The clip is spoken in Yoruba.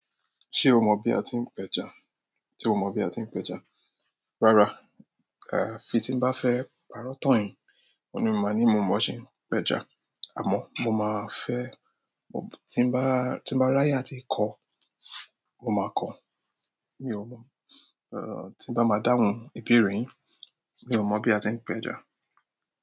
Ṣé o mọ bí a ti ń péja? Ṣé o mo bí a ti ń pẹja? Rárá àyàfi tí n bá fẹ́ pàrọ̀ tan yin òun ni ma ni mo mo bí a ṣe ń pẹja. Àmọ́ mo máa fẹ́, tí n bá, tí n bá ráyè tí kọ́, mo máa kọ́. Mi ò mọ̀, eh, tí n bá máa dáhùn ìbéèrè yín, mi ò mọ bí a ti ń péja.